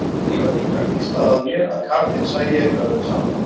Því var líka hvíslað að mér að karlinn sæi eftir öllu saman.